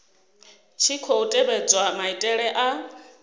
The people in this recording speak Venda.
tshi khou tevhedzwa maitele a